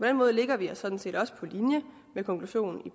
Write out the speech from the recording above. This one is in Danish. den måde lægger vi os sådan set også på linje med konklusionen i